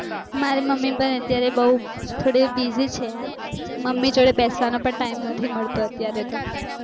મારી મમ્મી પણ અત્યારે થોડી બૌ થોડી buisy છે યાર મમ્મી જોડે બેસવાનો પણ નહિ મળતો